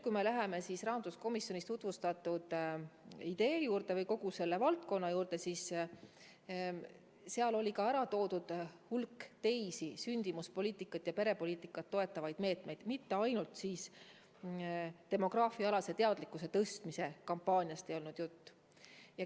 Kui me läheme rahanduskomisjonis tutvustatud idee juurde või kogu selle valdkonna juurde, siis seal sai märgituid suurt hulka teisi sündimuspoliitikat ja perepoliitikat toetavaid meetmeid, jutt ei olnud ainult demograafiaalase teadlikkuse tõstmise kampaaniast.